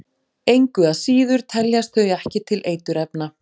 Engu að síður teljast þau ekki til eiturefna.